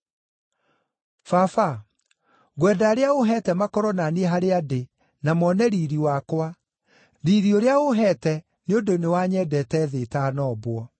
“Baba, ngwenda arĩa ũũheete makorwo na niĩ harĩa ndĩ na mone riiri wakwa, riiri ũrĩa ũũheete nĩ ũndũ nĩwanyendete thĩ ĩtanombwo.